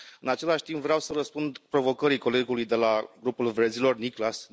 În același timp, vreau să răspund provocării colegului de la Grupul Verzilor, Niklas Nienass.